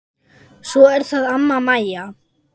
Svo er það amma Mæja.